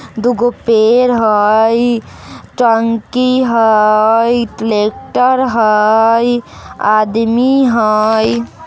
दूगो पेड़ हई टंकी हई ट्रेक्टर हई आदमी हई।